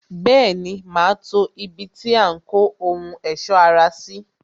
Bẹẹni, ma to ibi tí a ń kó ohun ẹ̀sọ́ ara sí